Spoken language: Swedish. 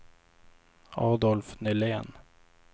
Adolf Nylén